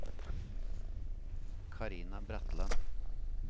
Carina Bratland